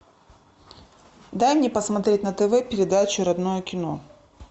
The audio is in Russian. дай мне посмотреть на тв передачу родное кино